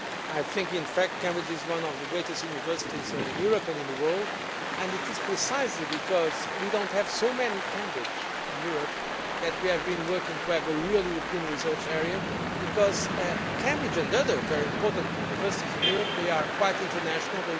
I think Cambridge is one of the greatest universities in Europe and in the world. It is precisely because we do not have so many Cambridges in Europe that we have been working to have a real European research area, because Cambridge and other very important universities in Europe are quite international.